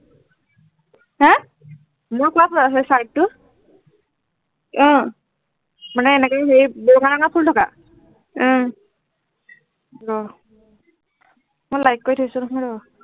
হা মই কোৱা তোৱেই সেই চাইডটো অ মানে এনেকে ফুল থকা উম ৰ মই like কৰি থৈছো নহয় ৰ